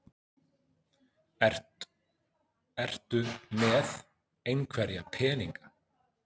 Ertu með einhverja peninga?